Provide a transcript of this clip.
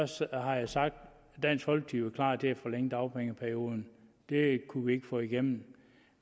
så har jeg sagt at dansk folkeparti forlænge dagpengeperioden det kunne vi ikke få igennem